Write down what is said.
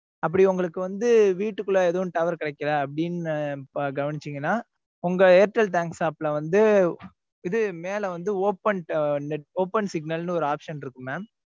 அப்படி உங்களுக்கு வந்து வீட்டுக்குள்ள எதுவும் tower கிடைக்கல அப்படின்னு கவனிச்சீங்களா உங்க airtel thanks app ல வந்து இது மேல வந்து open net open signal ன்னு ஒரு option இருக்கும் mam